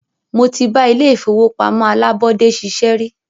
Mó tí bá ilé ìfọwọ́pamó alábọ́dé ṣiṣẹ́ rí.